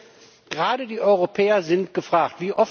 Ich finde, gerade die Europäer sind gefragt.